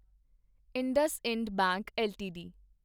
IndusInd bank LTD